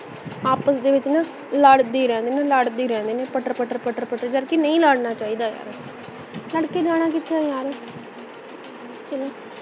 ਆਪਸ ਦੇ ਵਿੱਚ ਨਾ ਲੱੜਦੇ ਹੀ ਰਹਿਣ ਲੜਦੇ ਹੀ ਰਹਿਣੇ ਨੇ ਪੱਟਰ ਪੱਟਰ ਪੱਟਰ ਪੱਟਰ ਕਰਕੇ ਨਹੀਂ ਲੜਨਾ ਚਾਹੀਦਾ ਯਾਰ ਲੜਕੇ ਜਾਣਾ ਕਿਥੇ ਹੈ ਯਾਰ